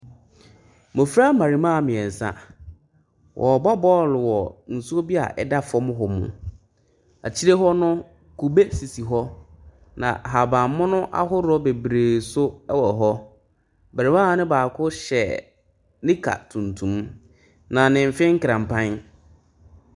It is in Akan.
Mmɔfra mmarimaa miɛnsa. Wɔɔbɔ bɔl wɔ nsuo bi a ɛda fam hɔ mu. Akyire hɔ no, kube sisi hɔ na ahaban mono ahodoɔ bebree so ɛwɔ hɔ. Barima no baako hyɛ nika tuntum na ne mfe nkranpaen.